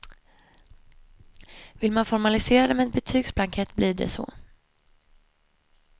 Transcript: Vill man formalisera det med en betygsblankett blir det så.